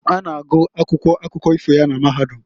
A na-agụ akwụkwọ akụkọ ifo ya na mahadum.